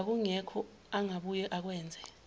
kwakungekho angabuye akwenze